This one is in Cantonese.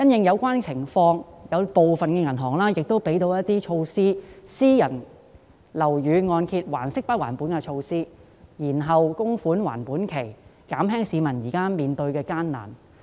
有見及此，部分銀行已推出不同措施，例如私人樓宇按揭還息不還本及延後供款還款期，以減輕市民現時面對的困難。